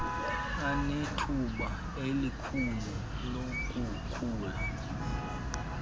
anethuba elikhulu lokukhula